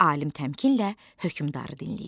Alim təmkinlə hökmdarı dinləyir.